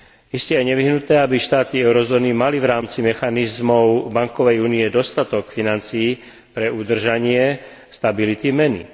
Iste je nevyhnutné, aby štáty eurozóny mali v rámci mechanizmov bankovej únie dostatok financií pre udržanie stability meny.